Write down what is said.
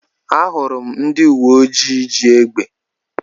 Ahụrụ m ndị uwe ojii ji égbè.